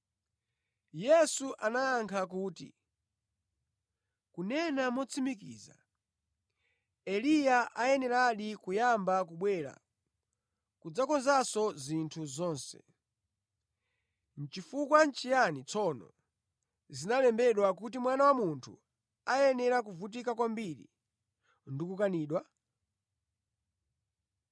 Yesu anayankha kuti, “Kunena motsimikiza, Eliya ayeneradi kuyamba kubwera kudzakonzanso zinthu zonse. Nʼchifukwa chiyani tsono zinalembedwa, kuti Mwana wa Munthu ayenera kuvutika kwambiri ndi kukanidwa?